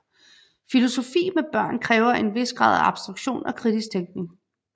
Filosofi med børn kræver en hvis grad af abstraktion og kritisk tænkning